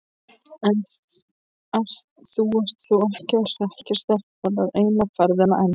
Þú ert þó ekki að hrekkja stelpurnar eina ferðina enn!